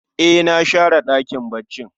E, na share ɗakin baccin